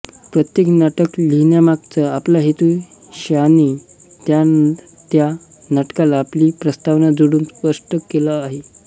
प्रत्येक नाटक लिहिण्यामागचा आपला हेतू शॉने त्या त्या नाटकाला आपली प्रस्तावना जोडून स्पष्ट केला आहे